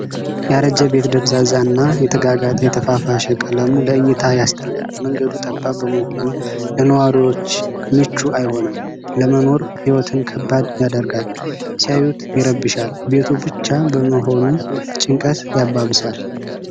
ያረጀ ቤት ደብዛዛ እና የተጋጋጠ የተፋፋሸ ቀለሙ ለእይታ ያስጠላል። መንገዱ ጠባብ በመሆኑ ለነዋሪዎች ምቹ አይሆንም። ለመኖር ህይወትን ከባድ ያደርጋል። ሲያዩት ይረብሻል። ቤቱ ብቻ በመሆኑ ጭንቀት ያባብሳል።